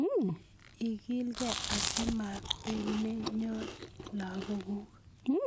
igilgei asi mabanennyo lagokuk